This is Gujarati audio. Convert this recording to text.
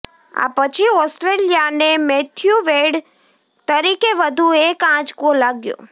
આ પછી ઓસ્ટ્રેલિયાને મેથ્યુ વેડ તરીકે વધુ એક આંચકો લાગ્યો